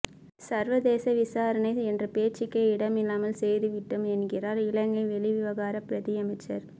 சர்வதேச விசாரணை என்ற பேச்சுக்கே இடமில்லாமல் செய்து விட்டோம் என்கிறார் இலங்கை வெளிவிவகாரப் பிரதியமைச்சர்